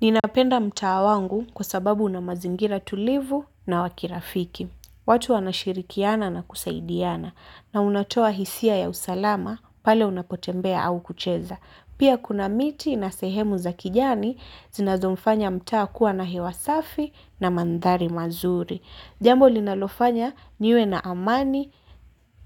Ninapenda mtaa wangu kwa sababu una mazingira tulivu na wa kirafiki. Watu wanashirikiana na kusaidiana na unatoa hisia ya usalama pale unapotembea au kucheza. Pia kuna miti na sehemu za kijani zinazomfanya mtaa kuwa na hewa safi na mandhari mazuri. Jambo linalofanya niwe na amani